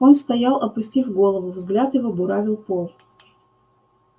он стоял опустив голову взгляд его буравил пол